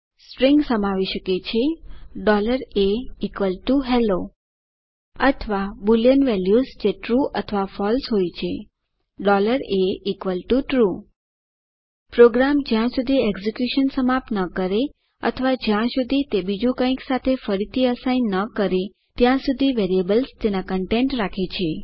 strings સમાવી શકે છે ahello અથવા બુલિયન વેલ્યુઝ જે ટ્રૂ અથવા ફળસે હોય છે atrue પ્રોગ્રામ જ્યાં સુધી એકઝીક્યુશન સમાપ્ત ન કરે અથવા જ્યાં સુધી તે બીજું કંઈક સાથે ફરીથી અસાઇન ન કરે ત્યાં સુધી વેરિયેબલ તેના કન્ટેન્ટ રાખે છે